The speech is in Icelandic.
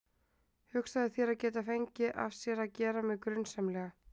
Hugsaðu þér að geta fengið af sér að gera mig grunsamlega.